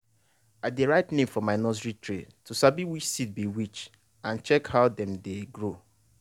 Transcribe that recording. i dey write name for my nursery tray to sabi which seed be which and check how dem dey grow.